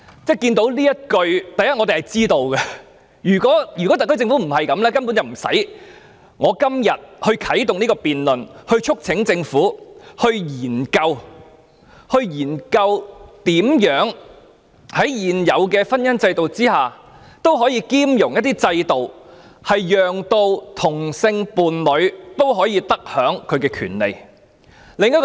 首先我們對此完全理解，如果特區政府不是抱持這種態度，今天便不用由我啟動這項議案的辯論，促請政府研究如何在現行婚姻制度下，納入一些兼容制度，讓同性伴侶可得享其權利。